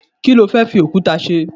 kilo fe fi okuta se